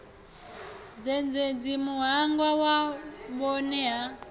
zhendedzi muhanga wa vhohe na